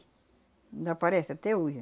Ainda aparece até hoje.